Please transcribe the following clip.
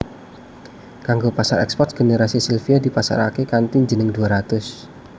Kanggo pasar eksport generasi Silvia dipasaraké kanthi jeneng dua ratus